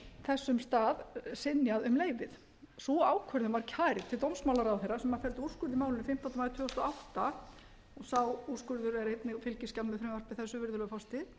þessum stað synjað um leyfið sú ákvörðun var kærð til dómsmálaráðherra sem felldi úrskurð í málinu fimmtánda maí tvö þúsund og átta og sá úrskurður er einnig fylgiskjal með frumvarpi þessu virðulegur forseti